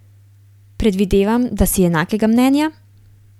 Predvidevam, da si enakega mnenja?